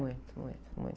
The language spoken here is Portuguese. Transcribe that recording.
Muito, muito, muito.